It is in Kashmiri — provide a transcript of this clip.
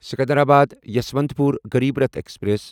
سکندرآباد یسوانتپور غریٖب راٹھ ایکسپریس